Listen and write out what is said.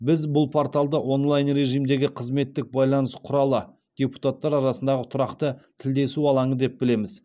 біз бұл порталды онлайн режимдегі қызметтік байланыс құралы депутаттар арасындағы тұрақты тілдесу алаңы деп білеміз